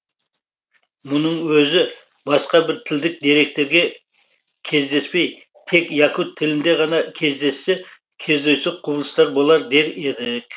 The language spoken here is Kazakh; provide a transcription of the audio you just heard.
мұның өзі басқа бір тілдік деректерде кездеспей тек якут тілінде ғана кездессе кездейсоқ құбылыс болар дер едік